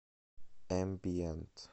эмбиент